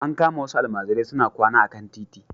An kama wasu almajirai suna kwana a kan titi.